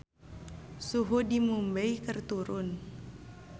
Suhu di Mumbay keur turun